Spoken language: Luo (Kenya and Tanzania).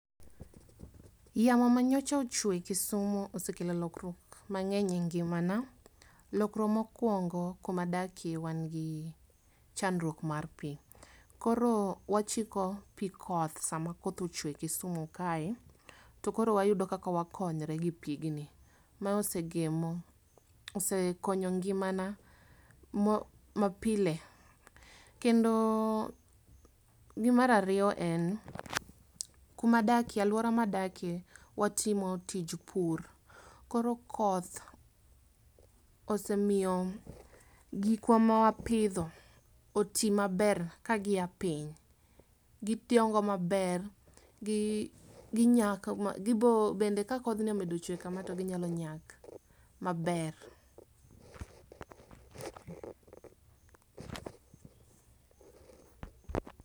Yamo ma nyocha ochwe kisumu osekelo lokruok mang'eny e ngimana. Lokruok mokwongo kuma adake wan gi chandruok mar pii. Koro wachiko pii koth sama koth ochwe kisumu kae to koro wayudo kaka wakonyre gi pigni. Ma osegemo osekonyo ngimana mapile kendo . Mar ariyo en kuma adakie aluora madakie watimo tij pur koro koth osemiyo gikwa ma wapidho otii maber kaa gia piny gidongo maber gi nyak ma gibo kende ka kodhni omedo chwe kama to gimedo nyak maber.